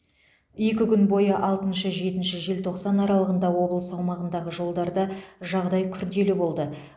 екі күн бойы алтыншы жетінші желтоқсан аралығында облыс аумағындағы жолдарда жағдай күрделі болды